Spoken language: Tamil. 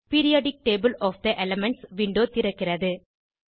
periodic table of the elements window திறக்கிறது